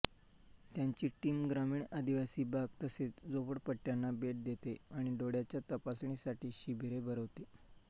त्यांची टीम ग्रामीण आदिवासी भाग तसेच झोपडपट्ट्यांना भेट देते आणि डोळ्यांच्या तपासणीसाठी शिबिरे भरवते